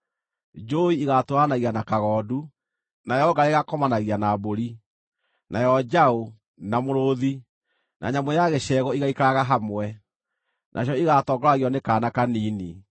Njũũi ĩgaatũũranagia na kagondu, nayo ngarĩ ĩgaakomanagia na mbũri, nayo njaũ, na mũrũũthi, na nyamũ ya gĩcegũ igaaikaraga hamwe; nacio igaatongoragio nĩ kaana kanini.